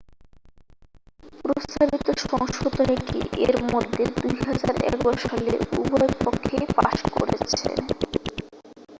প্রস্তাবিত সংশোধনীটি এর মধ্যে 2011 সালে উভয় পক্ষেই পাশ করেছে